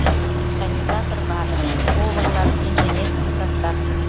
механизатор бар поварлар инженерский состав